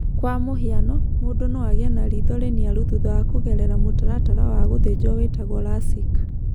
Kwa mũhiano, mũndũ no agĩe na riitho rĩniaru thutha wa kũgerera mũtaratara wa gũthĩnjwo wĩtagwo LASIK.